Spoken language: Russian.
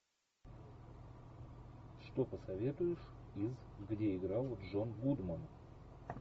что посоветуешь из где играл джон гудман